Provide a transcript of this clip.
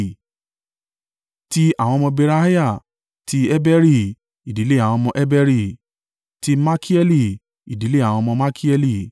Ti àwọn ọmọ Beriah: ti Heberi, ìdílé àwọn ọmọ Heberi; ti Malkieli, ìdílé àwọn ọmọ Malkieli.